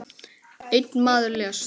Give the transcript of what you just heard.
Einn maður lést.